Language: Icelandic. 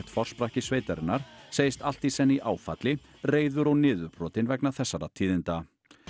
forsprakki sveitarinnar segist allt í senn í áfalli reiður og niðurbrotinn vegna þessara tíðinda